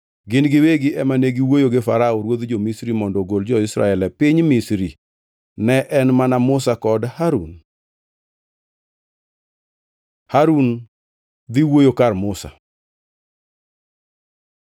Gin giwegi ema ne giwuoyo gi Farao ruodh jo-Misri mondo ogol jo-Israel e piny Misri. Ne en mana Musa kod Harun. Harun dhi wuoyo kar Musa